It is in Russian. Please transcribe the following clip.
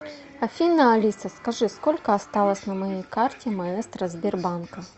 афина алиса скажи сколько осталось на моей карте маэстро сбербанка